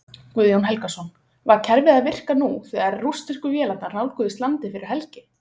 Guðjón Helgason: Var kerfið að virka nú þegar rússnesku vélarnar nálguðust landið fyrir helgi?